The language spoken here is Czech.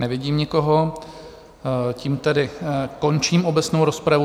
Nevidím nikoho, tím tedy končím obecnou rozpravu.